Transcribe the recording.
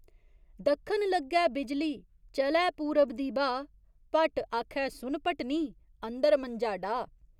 दक्खन लग्गै बिजली, चलै पूरब दी ब्हाऽ भट्ट आखै सुन भट्टनी, अंदर मंजा डाह्।